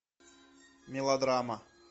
мелодрама